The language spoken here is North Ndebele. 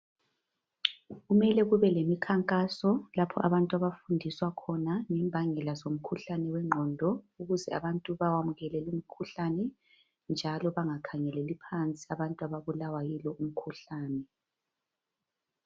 Kumele kube lemikhankaso lapho abantu abafundiswa khona ngembangela zomkhuhlane wengqondo ukuze abantu bawamukele lumkhuhlane njalo bangakhangeleli phansi abantu ababulawa yilo umkhuhlane.